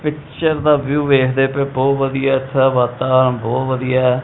Picture ਦਾ view ਵੇਖਦੇ ਪਏ ਹੋ ਬਹੁਤ ਵਧੀਆ ਇਸ ਦਾ ਵਾਤਾਵਰਨ ਬਹੁਤ ਵਧੀਆ ਹੈ।